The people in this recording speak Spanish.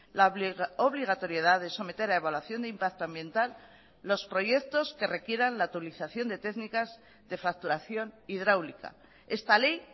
la obligatoriedad de someter a evaluación de impacto ambiental los proyectos que requieran la actualización de técnicas de facturación hidráulica esta ley